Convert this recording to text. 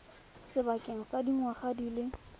sebakeng sa dingwaga di le